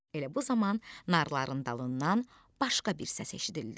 Elə bu zaman narların dalından başqa bir səs eşidildi.